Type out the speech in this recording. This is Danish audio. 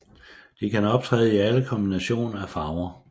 De kan optræde i alle kombinationer af farver